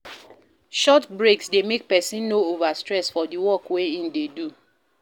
Short breaks de make persin no over stress for di work wey in de do